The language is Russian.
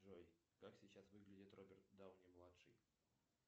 джой как сейчас выглядит роберт дауни младший